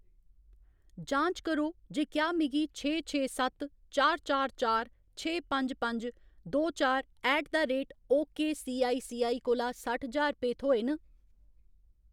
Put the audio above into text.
जांच करो जे क्या मिगी छे छे सत्त चार चार चार छे पंज पंज दो चार ऐट द रेट ओकेसीआईसीआई कोला सट्ठ ज्हार रपेऽ थ्होए न।